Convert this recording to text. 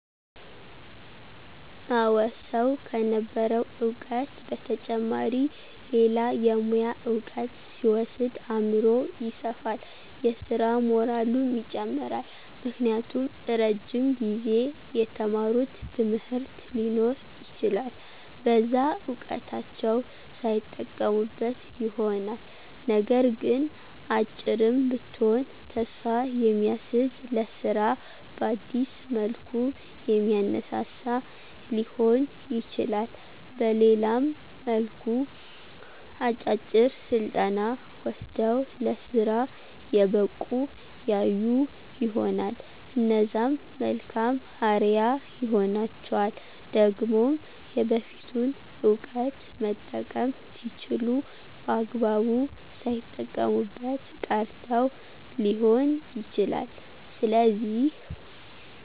አወ ሰዉ ከነበረዉ እዉቀት በተጨማሪ ሌላ የሙያ እዉቀት ሲወስድ አምሮዉ ይሰፋል የስራ ሞራሉም ይጨምራል። ምክንያቱም እረጅም ጊዜ የተማሩት ትምህርት ሊኖር ይችላል በዛ እዉቀታቸዉ ሳይጠቀሙበት ይሆናልነገር ግን "አጭርም ብትሆን ተስፋ የሚያስዝ ለስራ በአዲስ መልኩ የሚያነሳሳ" ሊሆን ይችላል በሌላም መልኩ "አጫጭር ስልጠና ወስደዉ ለስራ የበቁ ያዩ ይሆናል" እነዛም መልካም አርያ ይሆኗቸዋል። ደግሞም የበፊቱን እዉቀት መጠቀም ሲችሉ በአግባቡ ሳይጠቀሙበት ቀርተዉ ሊሆን ይችላል ስለዚህ፦<